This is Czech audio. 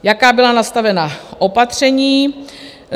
Jaká byla nastavená opatření?